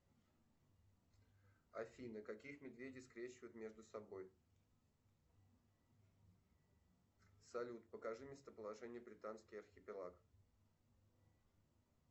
афина каких медведей скрещивают между собой салют покажи местоположение британский архипелаг